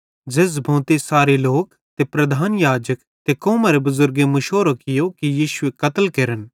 झ़ेझ़ भोंते सारे लोक ते प्रधान याजक ते कौमरे बुज़ुर्गेईं मुशोरो कियो कि यीशुएरे कत्ल केरनेरो फैसलो कियो